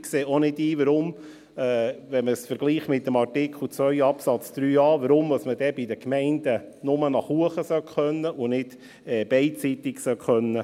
Ich sehe auch nicht ein, warum – wenn man es mit dem Artikel 2 Absatz a vergleicht – man bei den Gemeinden nur nach oben gehen können sollen und nicht beidseitig soll abweichen können.